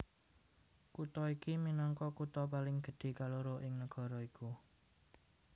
Kutha iki minangka kutha paling gedhé kaloro ing nagara iku